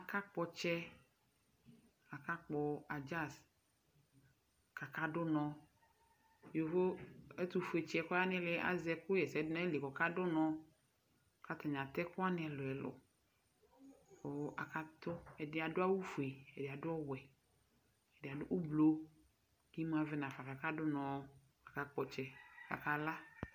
Akakpɔ ɔtsɛ, akakpɔ adzazɩ kʋ akadu unɔ Yovo ɛtʋfueytsi yɛ kʋ ɔya nʋ ili yɛ azɛ ɛkʋɣɛsɛdu nʋ ayili yɛ kʋ ɔkadu unɔ Kʋ atani atɛ ɛkʋ wani ɛlʋ ɛlʋ, kʋ akatsɔ Ɛdɩ adu awufue, ɛdɩ adu ɔwɛ, ɛdɩ adu ʋblʋ; kʋ imu avɛ nafa, kʋ akadu unɔ, kʋ akakpɔ ɔtsɛ kʋ akala